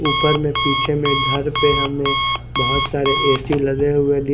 ऊपर में पीछे में घर पे हमें बोहोत सारे ए सी लगे हुए --